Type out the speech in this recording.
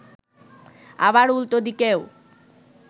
আবার উল্টো দিকেও